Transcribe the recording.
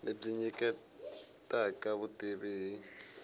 lebyi byi nyiketa vutivi hi